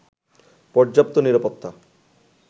পর্যাপ্ত নিরাপত্তা